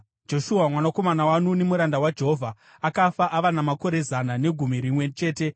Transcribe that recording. Joshua mwanakomana waNuni, muranda waJehovha, akafa ava namakore zana negumi rimwe chete.